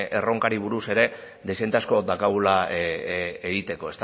erronkari buruz dezente asko daukagula egiteko